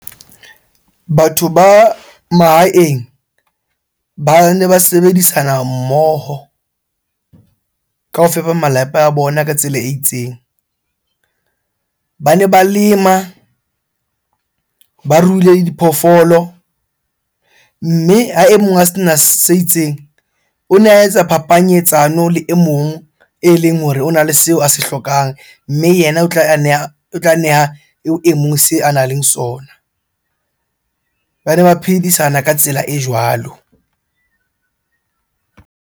Batho ba mahaeng bane ba sebedisana mmoho kaofela malapa a bona ka tsela e itseng. Bane ba lema, ba ruile diphoofolo. Mme ha e mong a sena se itseng, o ne a etsa phapanyetsano le e mong eleng hore ona le seo a se hlokang. Mme yena o tla neha eo e mong seo a nang le sona. Bane ba phedisana ka tsela e jwalo.